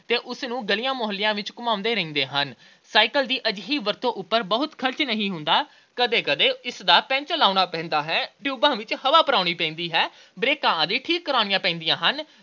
ਤੇ ਉਸਨੂੰ ਗਲੀਆਂ-ਮੁਹੱਲਿਆਂ ਵਿੱਚ ਘੁੰਮਾਉਂਦੇ ਰਹਿੰਦੇ ਹਨ। cycle ਦੀ ਅਜਿਹੀ ਵਰਤੋਂ ਉਪਰ ਬਹੁਤ ਖਰਚ ਨਹੀਂ ਉਠਾਉਣਾ ਪੈਂਦਾ। ਕਦੇ-ਕਦੇ ਇਸਦਾ ਪੈਂਚਰ ਲਗਾਉਣਾ ਪੈਂਦਾ ਹੈ। ਟਿਊਬਾਂ ਵਿੱਚ ਹਵਾ ਭਰਾਉਣੀ ਪੈਂਦੀ ਹੈ। ਬ੍ਰੇਕਾਂ ਆਦਿ ਠੀਕ ਕਰਾਉਣੀਆਂ ਪੈਂਦੀਆਂ ਹਨ